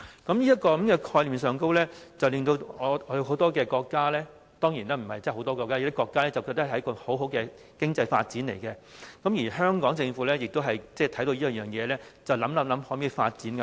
當然也並非真的有很多國家，是有些國家認為這是很好的經濟發展機會，而香港政府也看見這業務的前景，便考慮是否也能在港發展。